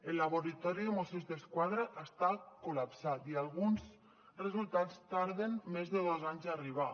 el laboratori de mossos d’esquadra està col·lapsat i alguns resultats tarden més de dos anys a arribar